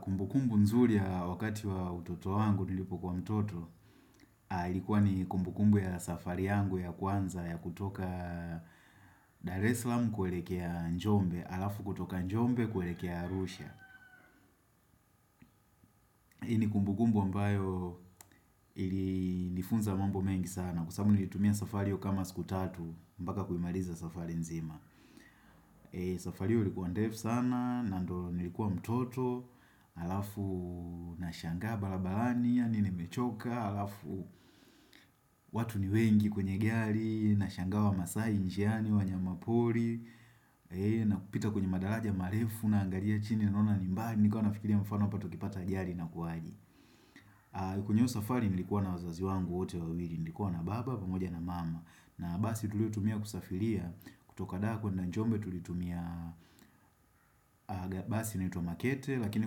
Kumbukumbu nzuri ya wakati wa utoto angu nilipokua mtoto, ilikuwa ni kumbukumbu ya safari yangu ya kwanza ya kutoka Dar el salaam kuelekea njombe, alafu kutoka njombe kuelekea arusha. Hii ni kumbukumbu ambayo ili nifunza mambo mengi sana Kwa sababu nilitumia safari hyo kama siku tatu mpaka kuimaliza safari nzima safari hyo ilikua ndefu sana na ndo nilikuwa mtoto Alafu nashanga barabarani Yaani nimechoka Alafu watu ni wengi kwenye gari Nashangaa wamasai njiani wanyama pori na kupita kwenye madaraja marefu Naangalia chini naona ni mbali Nilikuwa nafikiria mfano hapa tukipata ajali inakuaje kwenye hiyoo safari nilikuwa na wazazi wangu wote wawili, nilikuwa na baba pamoja na mama na basi tuliotumia kusafiria, kutoka dako kuenda njombe tulitumia basi inaitwa makete Lakini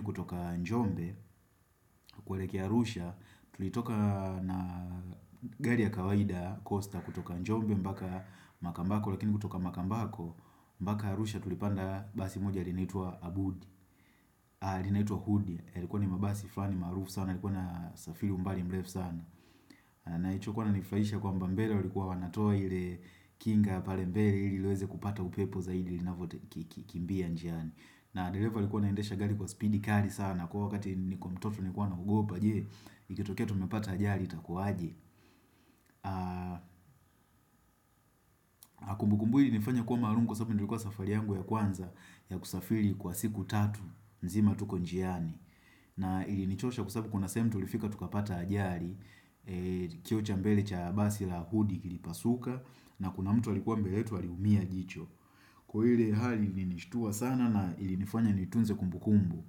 kutoka njombe kuelekea arusha tulitoka na gari ya kawaida Costa kutoka njombe mpaka makambako Lakini kutoka makambako mpaka arusha tulipanda basi moja linaitwa abudi linaitwa hudi, yalikuwa ni mabasi flani maarufu sana, yalikuwa na safiri umbali mrefu sana na hicho kuwa inanifurahisha kwamba mbele walikuwa wanatoa ile kinga pale mbele ili liweze kupata upepo zaidi linavyokimbia njiani na dereva alikuwa anaendesha gari kwa speedy kali sana kwa huo wakati nilikuwa mtoto nilikua naogopa je Ikitokea tumepata ajali itakuwa aje kumbukumbu hii ilinifanya kuwa maalum kwa sababu nilikuwa safari yangu ya kwanza ya kusafiri kwa siku tatu nzima tuko njiani na ilinichosha kwa sababu kuna sehemu tulifika tukapata ajali kioo cha mbele cha basi la hudi kilipasuka na kuna mtu alikuwa mbele yetu aliumia jicho Kwa ile hali ilinishtua sana na ilinifanya nitunze kumbu kumbu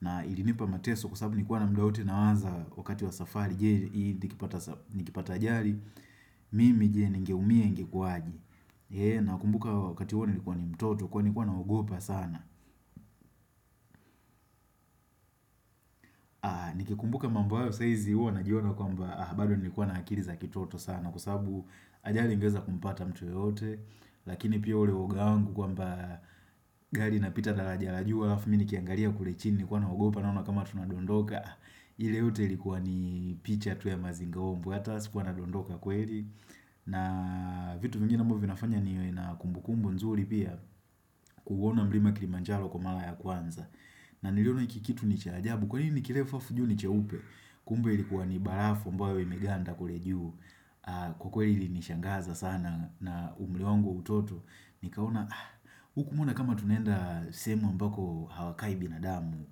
na ilinipa mateso kwa sababu nilikuwa na muda wote nawaza wakati wa safari Je nikipata ajali Mimi je ningeumia ingekuaje Nakumbuka wakati huo nilikuwa ni mtoto kwani nilikuwa naogopa sana ni ikumbuka mambo wao saa hizi huwa najiona kwamba bado nilikuwa na akili za kitoto sana Kwa sababu ajali ingeweza kumpata mtu yoyote Lakini pia ule uwoga wangu kwamba gari inapita daraja la juu Alafu mimi nikiangalia kule chini nilikuwa naogopa naona kama tunadondoka ile yote likuwa ni picha tu ya mazingaombwe hata sikuwa nadondoka kweli na vitu vingine ambavyo vinafanya niwe na kumbu kumbu nzuri pia kuuona mlima wa kilimanjaro kwa mara ya kwanza na niliona hiki ikitu ni cha ajabu Kwa nini kirefa alafu juu ni cheupe Kumbe ilikuwa ni barafu ambawe imeganda kule juu Kwa kweli ili nishangaza sana na umri wangu utoto Nikaona huku mbona kama tunaenda sehemu ambako hawakai binadamu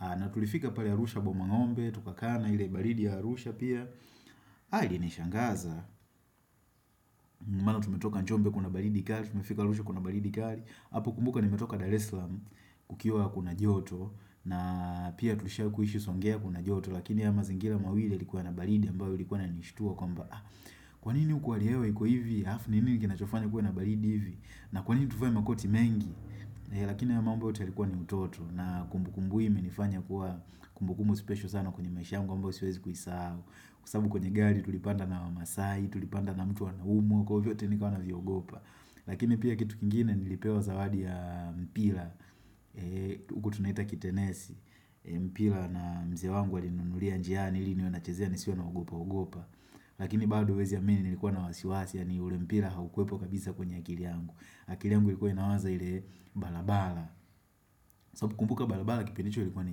na tulifika pale arusha bomangombe Tukaa na ile baridi ya arusha pia ilinishangaza maana tumetoka Nchombe kuna baridi kali Tumefika arusha kuna baridi kali hapo kumbuka nimetoka Dar es salaam Kukiwa kuna joto na pia tushakuishi songea kuna joto Lakini haya mazingira mawili yalikuwa na baridi ambayo ilikuwa inanishtua kwamba kwanini huku hali ya hewa iko hivi halafu ni nini kinachofanya kuwe na baridi hivi na kwanini tuvae makoti mengi lakini hayo mambo yote yalikuwa ni utoto na kumbukumbu hii imenifanya kuwa kumbukumbu spesho sana kwenye maisha yangu kwa sababu siwezi kuisahau kwa sababu kwenye gari tulipanda na wamasai tulipanda na mtu anaumwa kwa hiyo vyote nikawa naviogopa lakini pia kitu kingine nilipewa zawadi ya mpira huku tunaita kitenesi mpira na mzee wangu alininunulia njiani ili niwe nachezea nisiwe na ogopa ogopa lakini bado huwezi amini nilikuwa na wasiwasi yani ule mpira haukuwepo kabisa kwenye akili yangu akili yangu ilikuwa inawaza ile barabara sababu kumbuka barabara kipindi icho ilikuwa ni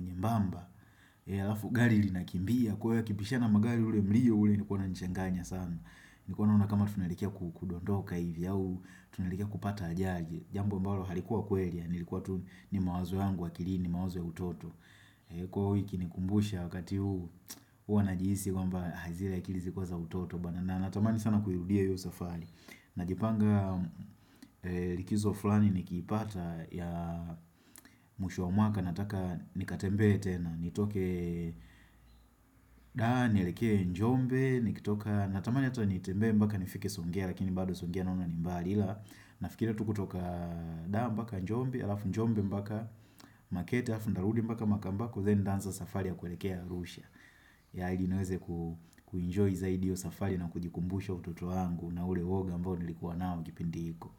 nyembamba alafu gari linakimbia kwahiyo yakipishana magari ule mlio ule ulikua unanichanganya sana nilikuwa naona kama tunaelekea kudondoka hivi au tunaelekea kupata ajali jambo ambalo halikuwa kweli ilikuwa tu ni mawazo yangu akilini ni mawazo ya utoto kwaiyo hii ukinikumbusha wakati huu hua najihisi kwamba zile akili zilikua za utoto na natamani sana kuirudia hiyo safari najipanga likizo fulani nikipata ya mwisho wa mwaka nataka nikatembee tena nitoke dar nielekee njombe nikitoka natamani ata nitembee mbaka nifike songea lakini bado songea naona ni mbali ila nafikiria tu kutoka dar mbaka njombe alafu njombe mbaka makete alafu nitarudi mbaka makambako then nitaanza safari ya kuelekea arusha ili niweze kuenjoy zaidi iyo safari na kujikumbusha utoto wangu na ule uwoga ambao nilikuwa nao kipindi hiko.